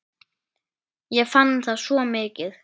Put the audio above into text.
Ég fann það svo mikið.